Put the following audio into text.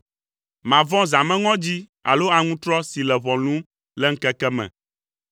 Màvɔ̃ zãmeŋɔdzi alo aŋutrɔ si le ʋɔ lũm le ŋkeke me,